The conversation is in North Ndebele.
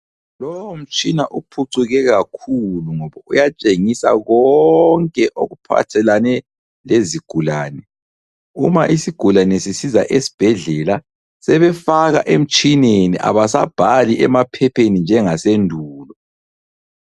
Lowomtshina uphucuke kakhulu ngoba uyatshengisa konke okuphathelane lezigulane. Uma isigulane sisiza esibhedlela sebefaka emtshineni abasabhali emaphepheni njengasendulo.